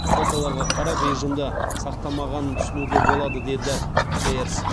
фотоларға қарап режимді сақтамағанын түсінуге болады деді кейерс